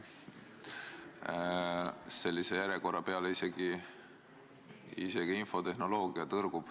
Sellise järjekorra peale tõrgub ka infotehnoloogia.